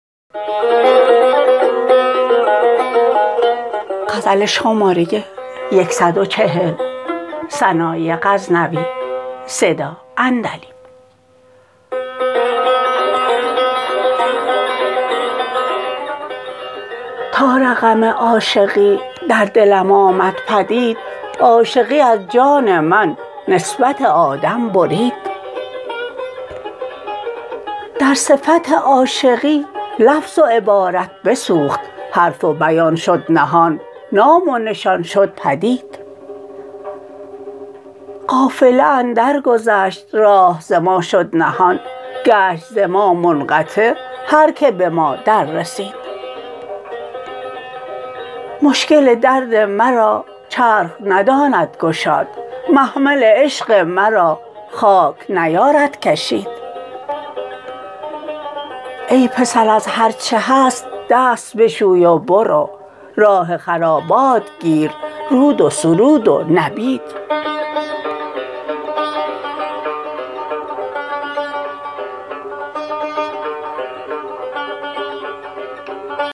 تا رقم عاشقی در دلم آمد پدید عاشقی از جان من نسبت آدم برید در صفت عاشقی لفظ و عبارت بسوخت حرف و بیان شد نهان نام و نشان شد پدید قافله اندر گذشت راه ز ما شد نهان گشت ز ما منقطع هر که به ما در رسید مشکل درد مرا چرخ نداند گشاد محمل عشق مرا خاک نیارد کشید ای پسر از هر چه هست دست بشوی و برو راه خرابات گیر رود و سرود و نبید